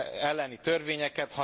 elleni törvényeket.